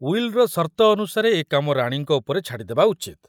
ଉଇଲର ସର୍ତ୍ତ ଅନୁସାରେ ଏ କାମ ରାଣୀଙ୍କ ଉପରେ ଛାଡ଼ିଦେବା ଉଚିତ୍।